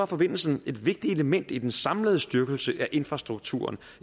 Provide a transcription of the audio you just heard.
forbindelsen et vigtigt element i den samlede styrkelse af infrastrukturen